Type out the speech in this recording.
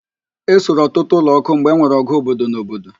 Ẹ suru ọtụtụ ụlọ ọkụ mgbe enwere ọgụ obodo na obodo